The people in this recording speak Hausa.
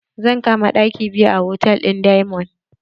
Zan kama ɗaki biyu a hotal ɗin diamond.